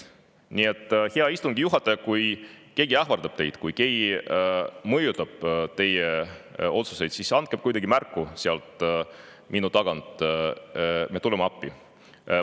Nii et, hea istungi juhataja, kui keegi ähvardab teid, kui keegi mõjutab teie otsuseid, siis andke kuidagi märku sealt minu selja tagant, me tuleme appi.